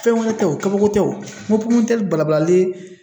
Fɛn wɛrɛ tɛ ye o kabako tɛ o n ko balabalalen